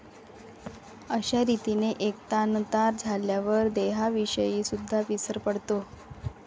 अश्या रीतीने एकतानता झाल्यावर देहाविषयीसुद्दा विसर पडतो